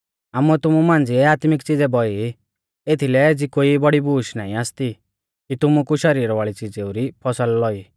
आमुऐ तुमु मांझ़िऐ आत्मिक च़िज़ै बौई एथीलै एज़ी कोई बौड़ी बूश नाईं आसती कि तुमु कु शरीर वाल़ी च़िज़ेउ री फौसल लौई